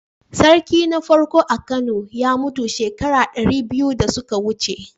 Sarki na farko a Kano ya mutu shekara dari biyu da suka wuce.